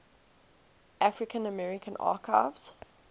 african american archives